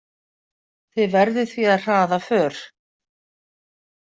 Þið verðið því að hraða för.